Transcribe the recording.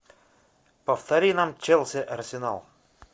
повтори нам челси арсенал